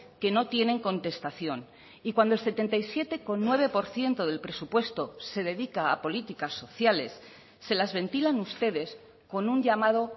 que no tienen contestación y cuando el setenta y siete coma nueve por ciento del presupuesto se dedica a políticas sociales se las ventilan ustedes con un llamado